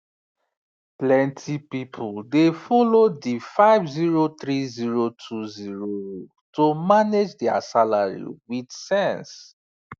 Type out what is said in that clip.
plenty people dey follow the five zero three zero two zero rule to manage their salary with sense